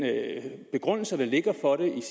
begrundelse der ligger for det